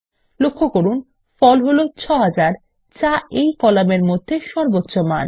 লক্ষ্য করুন ফল হলো ৬০০০ যা এই কলামের মধ্যে সর্বোচ্চ মান